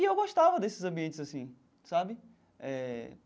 E eu gostava desses ambientes assim, sabe? Eh.